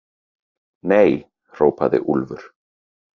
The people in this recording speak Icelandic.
Nei, hrópaði Úlfur.